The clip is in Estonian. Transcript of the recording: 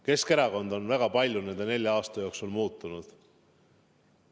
Keskerakond on väga palju nende nelja aasta jooksul muutunud.